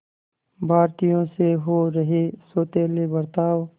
भारतीयों से हो रहे सौतेले बर्ताव